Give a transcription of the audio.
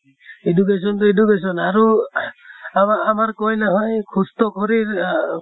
education তো education আহ আমাৰ আমাৰ হয় সুষ্ঠ শৰীৰ আ